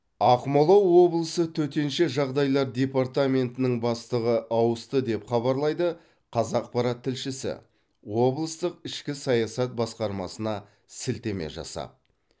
ақмола облысы төтенше жағдайлар департаментінің бастығы ауысты деп хабарлайды қазақпарат тілшісі облыстық ішкі саясат басқармасына сілтеме жасап